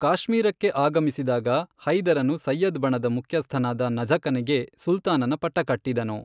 ಕಾಶ್ಮೀರಕ್ಕೆ ಆಗಮಿಸಿದಾಗ, ಹೈದರನು ಸಯ್ಯದ್ ಬಣದ ಮುಖ್ಯಸ್ಥನಾದ ನಝುಕನಿಗೆ ಸುಲ್ತಾನನ ಪಟ್ಟಕಟ್ಟಿದನು.